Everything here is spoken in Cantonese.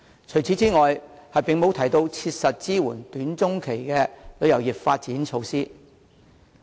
此外，施政報告內也沒有提出切實的短、中期措施，支援旅遊業的發展。